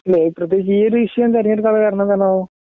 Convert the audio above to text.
അല്ല പ്രത്യേകിച്ച് ഈ ഒരു വിഷയം തിരഞ്ഞെടുക്കാനുള്ള കാരണം എന്താണാവോ